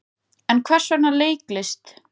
En hvers vegna leiklist?